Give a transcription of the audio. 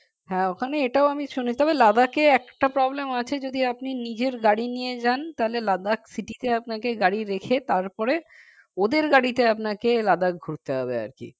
হ্যাঁ ওখানে এটাও আমি শুনেছি তবে Ladakh এ একটা problem আছে যদি আপনি নিজের গাড়ি নিয়ে যান তাহলে Ladakh city তে আপনাকে গাড়ি রেখে তারপরে ওদের গাড়িতে আপনাকে Ladakh ঘুরতে হবে আর কি